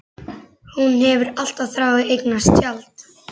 Hún hefur alltaf þráð að eignast tjald.